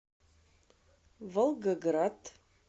волгоград